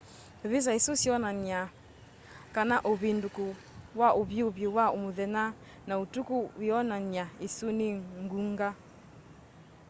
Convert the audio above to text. visa isu sionany'a kana uvinduku wa uvyuvu wa muthenya na utuku wionan'ya isu ni ngunga